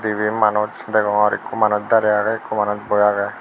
deba manus dagoror ekkho manus darey agey ekkho manus boi agey.